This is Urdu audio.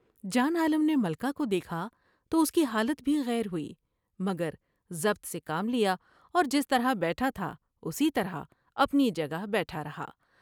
جان عالم نے ملکہ کو دیکھا تو اس کی حالت بھی غیر ہوئی مگر ضبط سے کام لیا اور جس طرح بیٹھا تھا اسی طرح اپنی جگہ بیٹھا رہا ۔